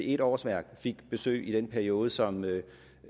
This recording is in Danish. et årsværk fik besøg i den periode som